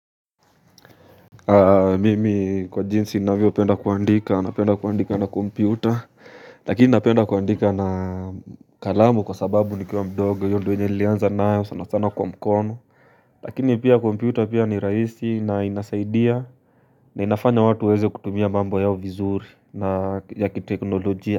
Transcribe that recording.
Mimi kwa jinsi ninavyopenda kuandika, napenda kuandika na kompyuta Lakini napenda kuandika na kalamu kwa sababu nikiwa mdogo hiyo ndo nilianza nayo sana sana kwa mkono Lakini pia kompyuta pia ni rahisi na inasaidia na inafanya watu waweze kutumia mambo yao vizuri na yakiteknolojia.